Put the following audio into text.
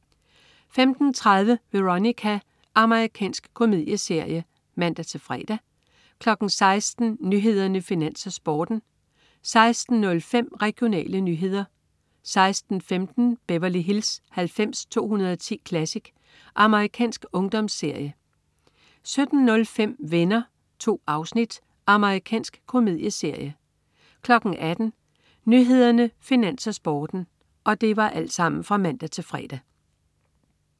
15.30 Veronica. Amerikansk komedieserie (man-fre) 16.00 Nyhederne, Finans, Sporten (man-fre) 16.05 Regionale nyheder (man-fre) 16.15 Beverly Hills 90210 Classic. Amerikansk ungdomsserie (man-fre) 17.05 Venner. 2 afsnit. Amerikansk komedieserie (man-fre) 18.00 Nyhederne, Finans, Sporten (man-fre)